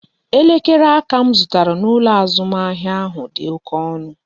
Elekere aka m zụtara n'ụlọ azụmahịa ahụ dị oké ọnụ